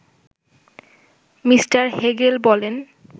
Mr Hegel বলেন